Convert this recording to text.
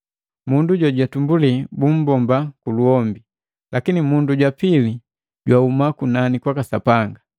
Mundu juutumbuli bumbomba kuluhombi, lakini Mundu jwa pili jwahuma kunani kwaka Sapanga.